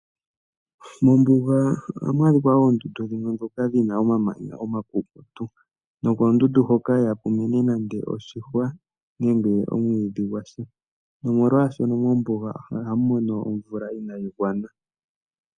Mombuga ohamu adhika oondundu dhimwe ndhoka dhi na omamanya omakukutu. Nokondundu hoka ihaku mene nande oshihwa nenge omwiidhi gwa sha nomolwaashono mombuga ohamu mono omvula inayi gwana.